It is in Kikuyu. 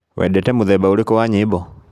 Wendete mũthemba ũrĩkũ wa nyĩmbo?